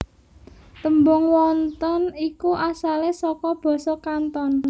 Tembung wonton iku asalé saka basa Kanton